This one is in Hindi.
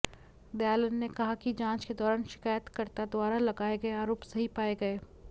दयालन ने कहा कि जांच के दौरान शिकायतकर्ता द्वारा लगाए गए आरोप सही पाए गए